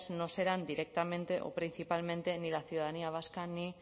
no serán directamente o principalmente ni la ciudadanía vasca ni